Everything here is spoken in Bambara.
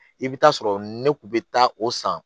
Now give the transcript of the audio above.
I bɛ taa sɔrɔ ne kun bɛ taa o san